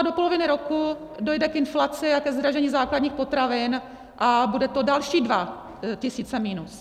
A do poloviny roku dojde k inflaci a ke zdražení základních potravin a budou to další dva tisíce minus.